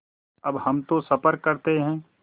अब हम तो सफ़र करते हैं